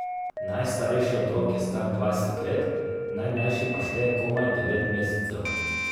Najstarejši otrok je star dvajset let, najmlajši pa šteje komaj devet mesecev.